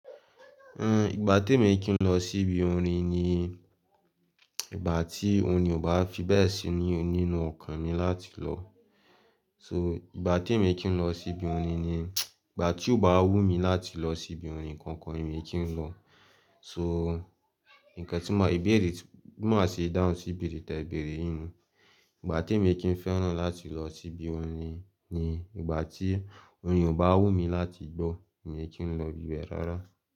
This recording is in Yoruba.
Hmm, ìgbà tí èmi kí n lọ sí ibi orin ni ìgbà tí orin bá fi bẹ́ẹ̀ ṣe ni onínú ọkàn mi láti lọ. So, ìgbà tí èmi kí n lọ sí ibi orin ni ìgbà tí ó bá wù mí láti lọ sí ibi orin kankan èmi kí n lọ. So, nǹkan tí mo, ibéèrè, tí, bi máa ṣe daun sí ibẹ̀rẹ̀ tẹ̀ bẹ̀rẹ̀ yii nú. Ìgbà tí èmi kíń fẹ́ràn láti lọ sí ibi orin ni ìgbà tí orin yen o bá wù mí láti gbọ́, mi kín lọ ibi be rárá.